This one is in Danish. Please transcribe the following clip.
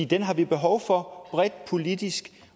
den har vi behov for bredt politisk